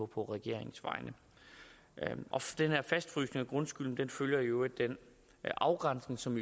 på regeringens vegne den her fastfrysning af grundskylden følger jo i øvrigt den afgrænsning som